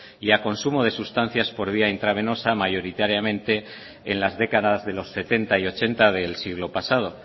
y a consumo de sustancias por vía intravenosa mayoritariamente en las décadas de los setenta y ochenta del siglo pasado